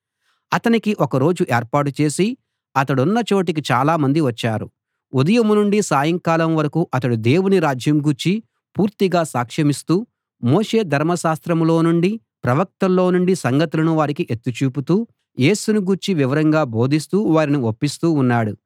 అతనికి ఒక రోజు ఏర్పాటు చేసి అతడున్న చోటికి చాలా మంది వచ్చారు ఉదయం నుండి సాయంకాలం వరకూ అతడు దేవుని రాజ్యం గూర్చి పూర్తిగా సాక్షమిస్తూ మోషే ధర్మశాస్త్రంలో నుండీ ప్రవక్తల్లో నుండీ సంగతులను వారికి ఎత్తి చూపుతూ యేసుని గూర్చి వివరంగా బోధిస్తూ వారిని ఒప్పిస్తూ ఉన్నాడు